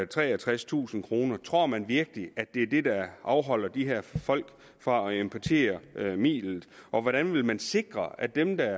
treogtredstusind kroner tror man virkelig at det er det der afholder de her folk fra at importere midlet og hvordan vil man sikre at dem der